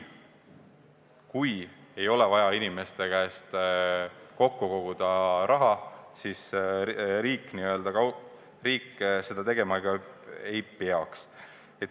Kui ei ole vaja inimeste käest raha koguda, siis riik seda tegema ka ei peaks.